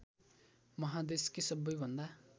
माहादेशकै सबैभन्दा